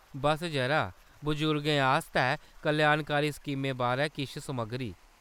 बस्स जरा, बजुर्गें आस्तै कल्याणकारी स्कीमें बारै किश समग्गरी।